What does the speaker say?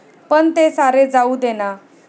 पण ते सारे जाऊ दे ना.